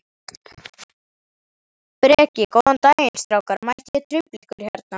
Breki: Góðan daginn strákar, mætti ég trufla ykkur hérna?